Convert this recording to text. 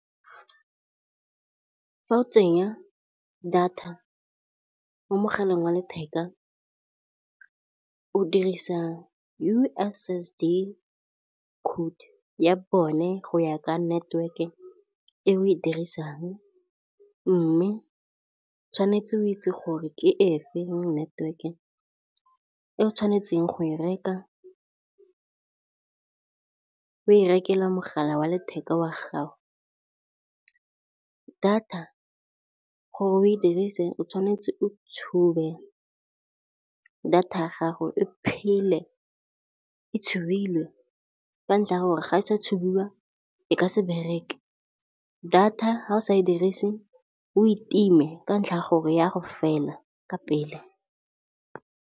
Fa o tsenya data mo mogaleng wa letheka o dirisa U_S_S_D code ya bone go ya ka network-e e o e dirisang mme tshwanetse o itse gore ke e feng network-e e o tshwanetseng go e reka o e rekela mogala wa letheka wa gago. Data gore o e dirise o tshwanetse o tshube data ya gago e phele e tshubilwe ka ntlha ya gore ga e sa tshubiwa e ka se bereke, data ga o sa e dirise o e time ka ntlha ya gore ya go fela ka pele.